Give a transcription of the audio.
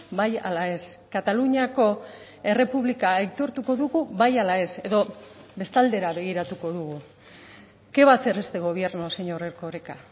bai ala ez kataluniako errepublika aitortuko dugu bai ala ez edo bestaldera begiratuko dugu qué va a hacer este gobierno señor erkoreka